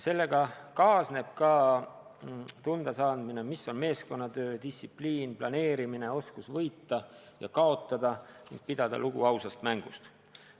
Sellega kaasneb ka tundasaamine, mis on meeskonnatöö ja distsipliin, kuidas aega planeerida, süveneb oskus võita ja kaotada ning lugupidamine ausast mängust.